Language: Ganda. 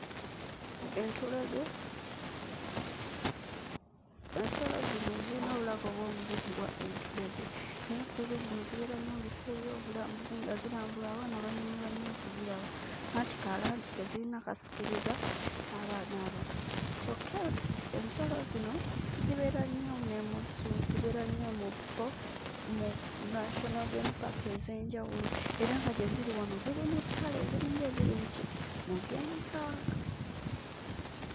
Entulege, ensolo zino ziyina obulago obuwanvu ziyitibwa entulege era entulege zino zibeera nnyo mu bifo ebyobulambuzi nga zirambula abaana banyumirwa nnyo okuziraba anti ka langi ke ziyina kasikiriza abaana abato, kyokka ensolo zino zibeera nnyo ne mu zoo, zibeera nnyo mu bifo mu national game park ez'enjawulo era nga gye ziri wano ziri mu ttale ziringa eziri mu game park.